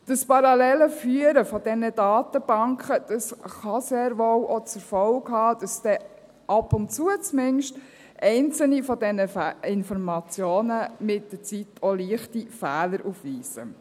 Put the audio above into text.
Dieses parallele Führen der Datenbanken kann sehr wohl auch zur Folge haben, dass zumindest einzelne dieser Informationen mit der Zeit ab und zu auch leichte Fehler aufweisen.